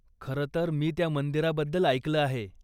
खरंतर मी त्या मंदिराबद्दल ऐकलं आहे.